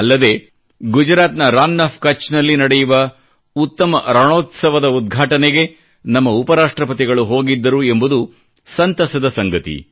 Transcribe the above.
ಅಲ್ಲದೆ ಗುಜರಾತ್ನ ರನ್ ಆಫ್ ಕಛ್ನಲ್ಲಿ ನಡೆಯುವ ಉತ್ತಮ ರಣೋತ್ಸವದ ಉದ್ಘಾಟನೆಗೆ ನಮ್ಮ ಉಪ ರಾಷ್ಟ್ರಪತಿಗಳು ಹೋಗಿದ್ದರು ಎಂಬುದು ಸಂತಸದ ಸಂಗತಿ